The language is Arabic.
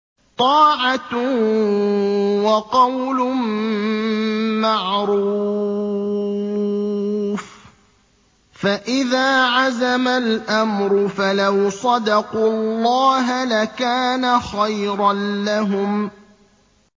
طَاعَةٌ وَقَوْلٌ مَّعْرُوفٌ ۚ فَإِذَا عَزَمَ الْأَمْرُ فَلَوْ صَدَقُوا اللَّهَ لَكَانَ خَيْرًا لَّهُمْ